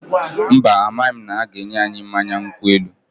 Mba, amaghị m na ha ga-enye anyị mmanya nkwụ elu